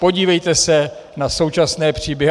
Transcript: Podívejte se na současné příběhy.